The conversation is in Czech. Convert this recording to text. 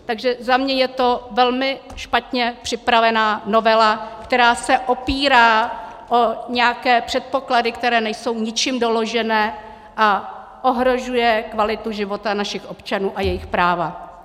Takže za mě je to velmi špatně připravená novela, která se opírá o nějaké předpoklady, které nejsou ničím doložené, a ohrožuje kvalitu života našich občanů a jejich práva.